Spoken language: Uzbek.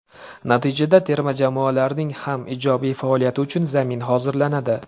Natijada terma jamoalarning ham ijobiy faoliyati uchun zamin hozirlanadi.